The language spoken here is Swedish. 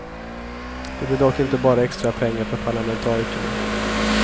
Det blir dock inte bara extra pengar för parlamentarikerna.